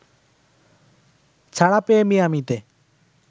ছাড়া পেয়ে মিয়ামিতে